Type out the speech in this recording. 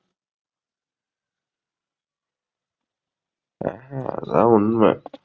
அதான் உண்மை.